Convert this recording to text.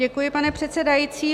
Děkuji, pane předsedající.